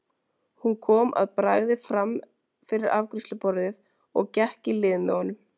Hún kom að bragði fram fyrir afgreiðsluborðið og gekk í lið með honum.